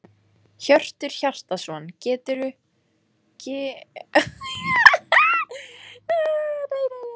Hjörtur Hjartarson: Geturðu fullyrt að svo verði?